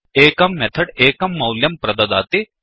एकं मेथड् एकं मौल्यं प्रददाति